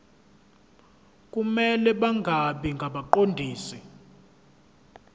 kumele bangabi ngabaqondisi